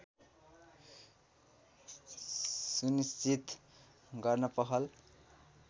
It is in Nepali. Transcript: सुनिश्चित गर्न पहल